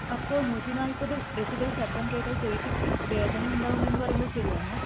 അപ്പൊ നൂറ്റി നാല്പത് ഡെസിബെൽ ശബ്ദം കേട്ടാൽ ചെവിക്ക് വേദന ഉണ്ടാവും എന്ന് പറയുന്നത് ശെരിയാണോ?